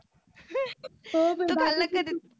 हो ग डाके sir